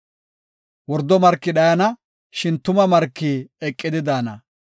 Wordo marki dhayana; shin tuma marki eqidi daana.